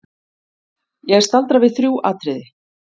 Ég staldra við þrjú atriði.